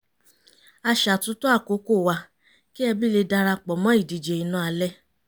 a ṣàtúntò àkókò wa kí ẹbí lè darapọ̀ mọ́ ìdíje iná alẹ́